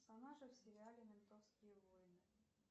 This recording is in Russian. персонажи в сериале ментовские войны